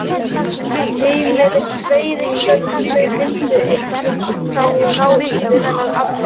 Heimir: Veiðigjöld, þau myndu einnig þá ná yfir þennan afla?